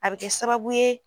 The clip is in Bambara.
A bɛ kɛ sababu ye